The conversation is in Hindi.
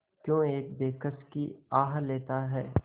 क्यों एक बेकस की आह लेता है